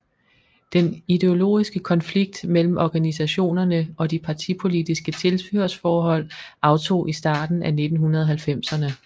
Den ideologiske konflikt mellem organisationerne og de partipolitiske tilhørsforhold aftog i starten af 1990erne